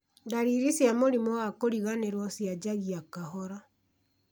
ndariri cia mũrimũ wa kũriganĩrwo cianjagia kahora